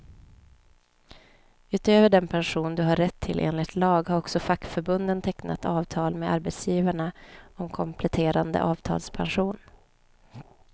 Utöver den pension du har rätt till enligt lag, har också fackförbunden tecknat avtal med arbetsgivarna om kompletterande avtalspension.